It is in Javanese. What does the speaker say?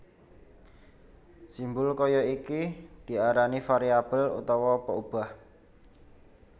Simbul kaya iki diarani variabel utawa peubah